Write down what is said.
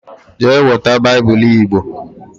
Jee weta Bible Igbo